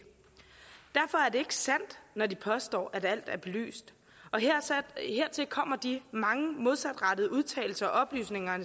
sandt når de påstår at alt er belyst og hertil kommer de mange modsatrettede udtalelser og oplysninger